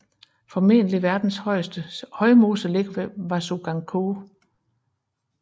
Formentlig verdens største højmose ligger ved Vasuganskoe